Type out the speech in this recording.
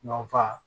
Nɔ fa